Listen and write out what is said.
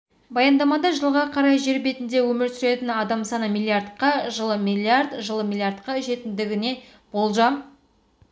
баяндамада жылға қарай жер бетінде өмір сүретін адам саны миллиардқа жылы миллиард жылы миллиардқа жететіндігіне болжам